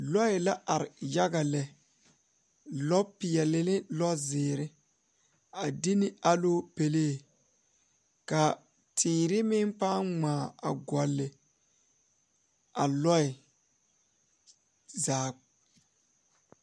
Lɔɛ la are yaga lɛ a be die poɔ ka bamine su bonsɔglɔ ka dakogre mine biŋ kyɛ ka bamine meŋ mulo kyaanaa poɔ kaa bamine meŋ are a ba puori.